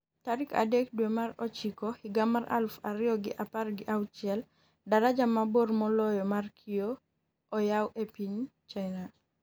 tarik adek dwe mar ochiko higa mar aluf ariyo gi apar gi auchiel. Daraja mabor moloyo mar kioo oyaw e piny China